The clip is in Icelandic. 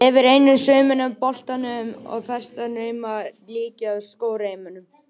Yfir einum saumnum á boltanum eru festar reimar sem líkjast skóreimum.